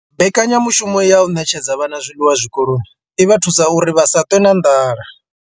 Mbekanya mushumo ya u ṋetshedza vhana zwiḽiwa zwikoloni i vha thusa uri vha si ṱwe na nḓala.